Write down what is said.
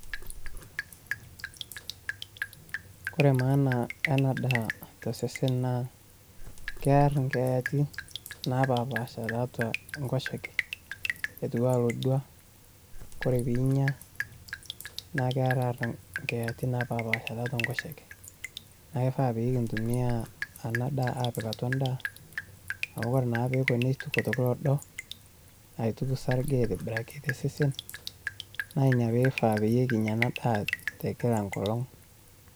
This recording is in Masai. Kore maana ena ndaa tosesen naa kewr inkeyati naapashapasha tiatua Enkoshoke eitu aa olodua naa ore pee inya naa keeraa emoyiaritin naapashapasha tiatua Enkoshoke naa keifaa pee kintumiya ena ndaa aapik atwa endaa, amu ore naa peeko neituku meta kedo, aituk sarge aitobiraki tosesen naa Ina peifaa ninkinya ena ndaa Kila engolong'.